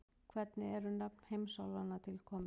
Hvernig eru nöfn heimsálfanna til komin?